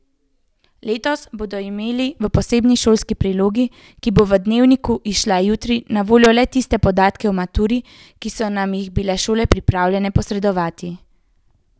Letos bomo imeli v posebni šolski prilogi, ki bo v Dnevniku izšla jutri, na voljo le tiste podatke o maturi, ki so nam jih bile šole pripravljene posredovati.